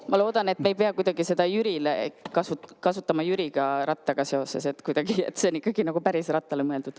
Ma loodan, et me ei pea seda kuidagi kasutama Jüri Rattaga seoses, et see on ikkagi päris rattale mõeldud.